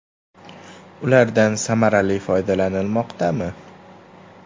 Ulardan samarali foydalanilmoqdami?